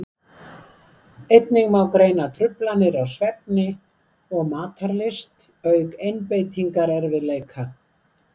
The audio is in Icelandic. einnig má greina truflanir á svefni og matarlyst auk einbeitingarerfiðleika